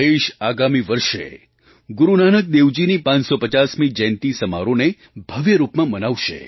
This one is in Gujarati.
દેશ આગામી વર્ષે ગુરુ નાનક દેવજીની 550મી જયંતી સમારોહને ભવ્ય રૂપમાં મનાવશે